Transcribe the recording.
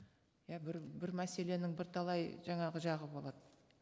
иә бір бір мәселенің бірталай жаңағы жағы болады